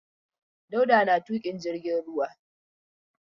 Dauda na tuƙin jirgin ruwa.